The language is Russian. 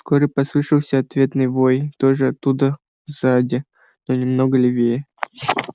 вскоре послышался ответный вой тоже оттуда сзади но немного левее